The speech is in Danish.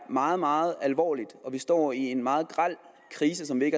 meget meget alvorligt og at vi står i en meget grel krise som vi